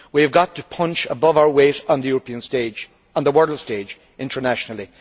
We have got to punch above our weight on the European stage and the world stage internationally.